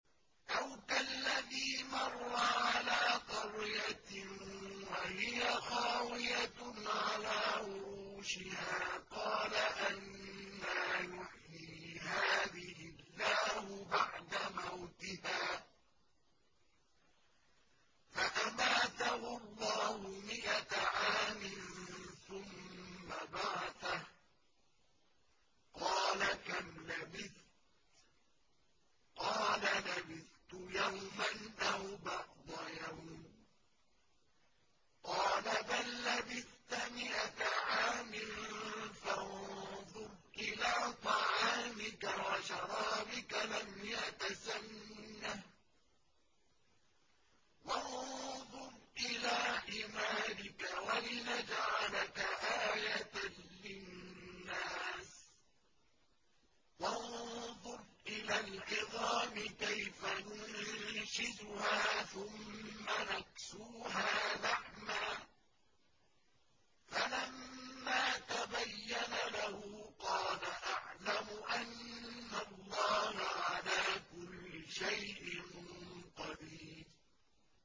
أَوْ كَالَّذِي مَرَّ عَلَىٰ قَرْيَةٍ وَهِيَ خَاوِيَةٌ عَلَىٰ عُرُوشِهَا قَالَ أَنَّىٰ يُحْيِي هَٰذِهِ اللَّهُ بَعْدَ مَوْتِهَا ۖ فَأَمَاتَهُ اللَّهُ مِائَةَ عَامٍ ثُمَّ بَعَثَهُ ۖ قَالَ كَمْ لَبِثْتَ ۖ قَالَ لَبِثْتُ يَوْمًا أَوْ بَعْضَ يَوْمٍ ۖ قَالَ بَل لَّبِثْتَ مِائَةَ عَامٍ فَانظُرْ إِلَىٰ طَعَامِكَ وَشَرَابِكَ لَمْ يَتَسَنَّهْ ۖ وَانظُرْ إِلَىٰ حِمَارِكَ وَلِنَجْعَلَكَ آيَةً لِّلنَّاسِ ۖ وَانظُرْ إِلَى الْعِظَامِ كَيْفَ نُنشِزُهَا ثُمَّ نَكْسُوهَا لَحْمًا ۚ فَلَمَّا تَبَيَّنَ لَهُ قَالَ أَعْلَمُ أَنَّ اللَّهَ عَلَىٰ كُلِّ شَيْءٍ قَدِيرٌ